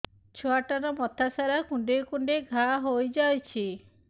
ଛୁଆଟାର ମଥା ସାରା କୁଂଡେଇ କୁଂଡେଇ ଘାଆ ହୋଇ ଯାଇଛି